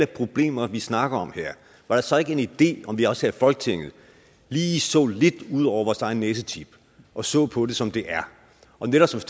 problemer vi snakker om her var det så ikke en idé om vi også her i folketinget lige så lidt ud over vores egen næsetip og så på det som det er og netop